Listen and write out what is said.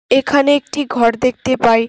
এখানে একটি ঘর দেখতে পাই।